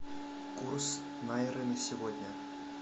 курс найры на сегодня